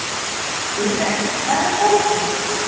Júrek, hvar er dótið mitt?